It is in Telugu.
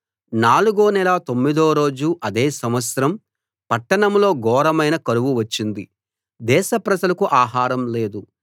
నాలుగో నెల తొమ్మిదో రోజు అదే సంవత్సరం పట్టణంలో ఘోరమైన కరువు వచ్చింది దేశ ప్రజలకు ఆహారం లేదు